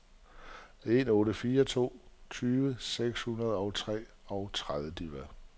en otte fire to tyve seks hundrede og treogtredive